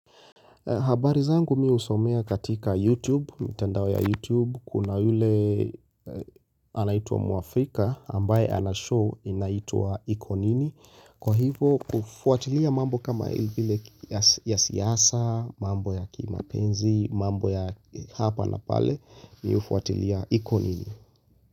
Habari zangu mi husomea katika YouTube, mitandao ya YouTube, kuna yule anaitwa Muafrika, ambaye anashow inaitwa iko nini, kwa hivo hufuatilia mambo kama ile ile ya siasa, mambo ya kimapenzi, mambo ya hapa na pale, mi hufuatilia iko nini.